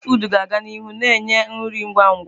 Fasti fụụdụ ga aga n'ihu na-enye nri ngwa ngwa.